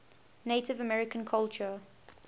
native american culture